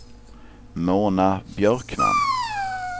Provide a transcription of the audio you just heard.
Mona Björkman